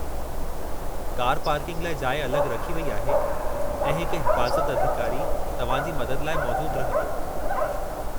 Car parking लाइ जाइ अलॻि रखी वेई आहे, ऐं हिकु हिफ़ाज़त अधिकारी तव्हांजी मदद लाइ मौजूदु रहंदो।